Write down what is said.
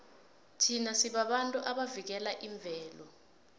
thina sibabantu abavikela imvelo